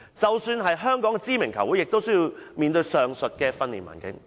即使是香港的知名球會亦需要面對上述的訓練環境。